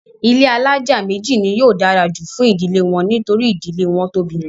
ilé alájà méjì ni yóò dára jù fún ìdílé wọn nítorí ìdílé wọn tóbi.